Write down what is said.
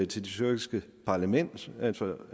til det tyrkiske parlament altså